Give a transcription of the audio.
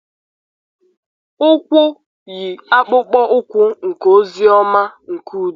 Ụkwụ yi akpụkpọ ụkwụ nke ozi ọma nke udo.